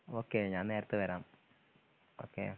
okay ഞാൻ നേരത്തെ വരാം ഓക്കെ